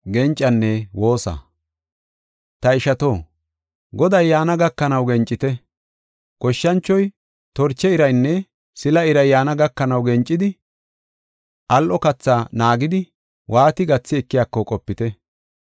Ta ishato, Goday yaana gakanaw gencite. Goshshanchoy torche iraynne sila iray yaana gakanaw gencidi al7o kathaa naagidi waati gathi ekiyako qopite.